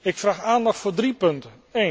Ik vraag aandacht voor drie punten.